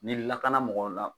Ni lakana mɔgɔw la